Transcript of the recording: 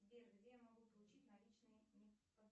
сбер где я могу получить наличные